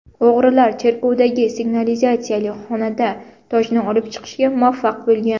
O‘g‘rilar cherkovdagi signalizatsiyali xonada tojni olib chiqishga muvaffaq bo‘lgan.